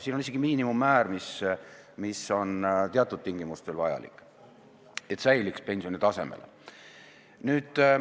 Siin on isegi miinimummäär, mis on teatud tingimustel vajalik, et säiliks pensioni tase.